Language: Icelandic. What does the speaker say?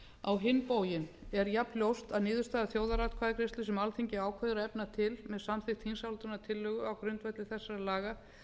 á hin bóginn er jafnljóst að niðurstaða þjóðaratkvæðagreiðslu sem alþingi ákveður að efna til með samþykkt þingsályktunartillögu á grundvelli þessara laga